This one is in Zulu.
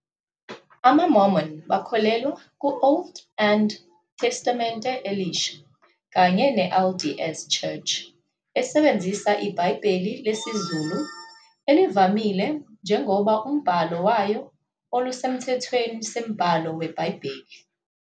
AmaMormon bakholelwa ku Old and eTestamente Elisha, kanye LDS Church esebenzisa iBhayibheli lesiZulu elivamile njengoba umbhalo wayo olusemthethweni sembhalo we iBhayibheli.